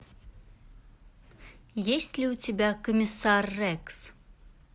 есть ли у тебя комиссар рекс